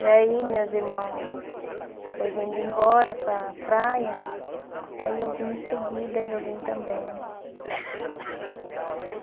E aí meus irmão foi vindo embora para a praia, aí eu vim em seguida e eu vim também.